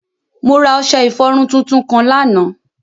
Mo ra ọṣẹ-ifọrun tuntun kan lánà.